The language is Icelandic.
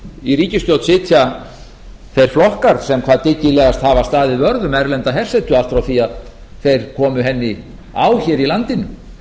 í ríkisstjórn sitja þeir flokkar sem hvað dyggilegast hafa staðið vörð um erlenda hersetu allt frá því að þeir komu henni á hér í landinu